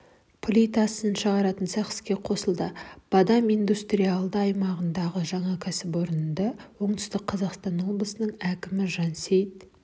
плитасын шағаратын цех іске қосылды бадам индустириалды аймағындағы жаңа кәсіпорынды оңтүстік қазақстан облысының әкімі жансейіт